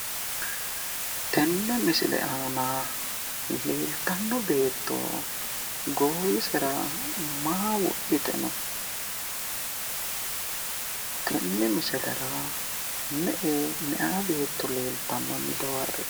Tenne misile aana la'neemmo beetto goowisera maa wodhite no? Tenne misilera me'e meya beetto leeltanno?